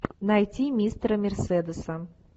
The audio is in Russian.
найти мистера мерседеса